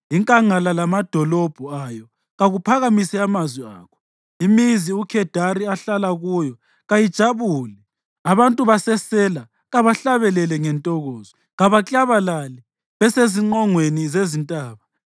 Inkangala lamadolobho ayo kakuphakamise amazwi akho; imizi uKhedari ahlala kuyo kayijabule. Abantu baseSela kabahlabele ngentokozo; kabaklabalale besezinqongweni zezintaba.